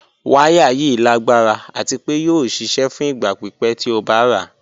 Wàyà yìí lágbara àti pé yóò ṣíṣẹ̀ fún ìgba pípẹ̀ tí ó bá rà.